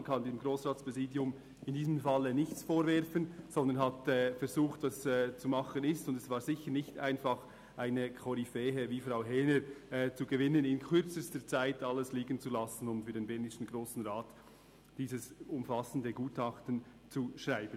Man kann dem Grossratspräsidium in diesem Fall nichts vorwerfen, sondern es hat das versucht, was machbar war, und es war sicher nicht einfach, eine Koryphäe wie Frau Häner zu gewinnen, die in kürzester Zeit alles hat stehen und liegen lassen, um für den bernischen Grossen Rat dieses umfassende Gutachten zu schreiben.